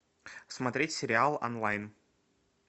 смотреть сериал онлайн